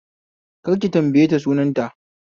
Kar ki tambaye ta sunan ta